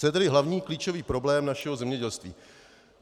Co je tedy hlavní, klíčový problém našeho zemědělství?